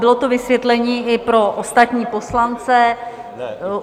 Bylo to vysvětlení i pro ostatní poslance.